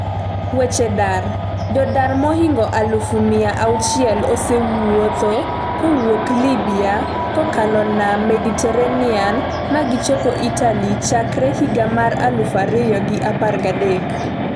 weche dar, Jodar mohingo aluf miya auchiel osewuotho kowuok Libya kokalo nam Mediterranean ma gichopo Italy chakre higa mar aluf ariyo gi apar gi adek